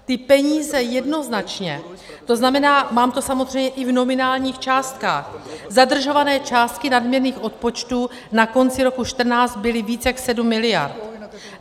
Ty peníze jednoznačně - to znamená, mám to samozřejmě i v nominálních částkách - zadržované částky nadměrných odpočtů na konci roku 2014 byly víc jak 7 miliard.